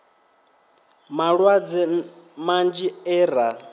na malwadze manzhi e ra